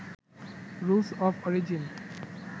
rules of origin